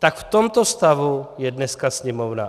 Tak v tomto stavu je dneska Sněmovna.